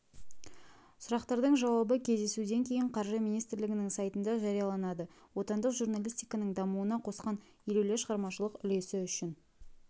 сұрақтардың жауабы кездесуден кейін қаржы министрлігінің сайтында жарияланады отандық журналистиканың дамуына қосқан елеулі шығармашылық үлесі үшін